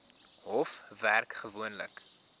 hof werk gewoonlik